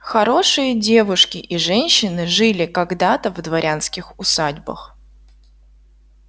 хорошие девушки и женщины жили когда-то в дворянских усадьбах